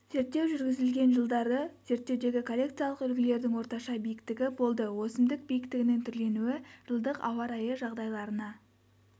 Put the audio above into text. зерттеу жүргізілген жылдары зерттеудегі коллекциялық үлгілердің орташа биіктігі болды өсімдік биіктігінің түрленуі жылдық ауа райы жағдайларына